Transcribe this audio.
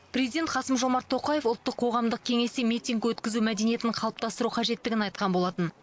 президент қасым жомарт тоқаевтың ұлттық қоғамдық кеңесте митинг өткізу мәдениетін қалыптастыру қажеттігін айтқан болатын